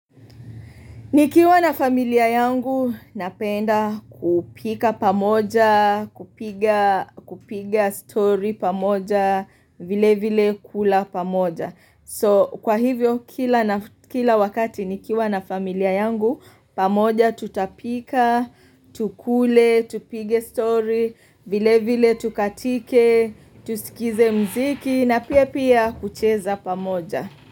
Nikiwa na familia yangu napenda kupika pamoja, kupiga story pamoja, vilevile kula pamoja. So kwa hivyo kila wakati nikiwa na familia yangu pamoja tutapika, tukule, tupige story, vilevile tukatike, tusikize muziki na pia pia kucheza pamoja.